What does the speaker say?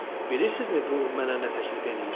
Bilirsinizmi bu mənə nə təklif eləyir?